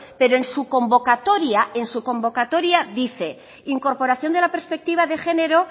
pero en su convocatoria en su convocatoria dice incorporación de la perspectiva de género